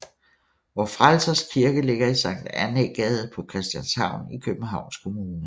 Vor Frelsers Kirke ligger i Sankt Annæ Gade på Christianshavn i Københavns Kommune